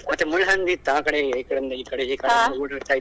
ಮತ್ತೆ ಮುಳ್ಳ ಹಂದಿ ಇತ್ತು ಆಕಡೆ ಇಂದ ಈಕಡೆಗೆ ಓಡಾಡ್ತಾ ಇತ್ತು.